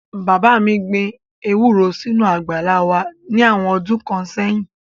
Bàbá mi gbin ewúro sínú àgbàlá wá ní àwọn ọdún kan sẹ́yìn